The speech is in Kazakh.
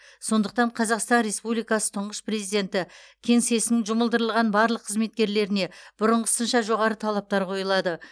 сондықтан қазақстан республикасы тұңғыш президенті кеңсесінің жұмылдырылған барлық қызметкерлеріне бұрынғысынша жоғары талаптар қойылады